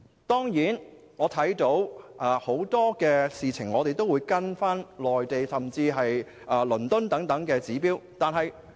當然，香港在很多事情上都會跟隨內地及倫敦等指標。